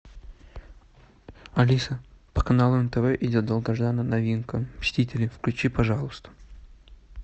алиса по каналу нтв идет долгожданная новинка мстители включи пожалуйста